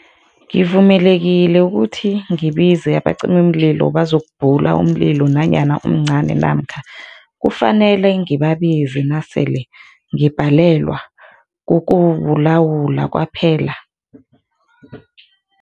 Ngivumelekile ukuthi ngibize abacimimlilo bazokubhula umlilo nanyana umncani namkha kufanele ngibabize nasele ngibhalelwa kukuwulawula kwaphela?